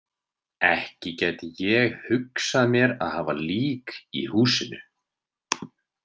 Ekki gæti ég hugsað mér að hafa lík í húsinu.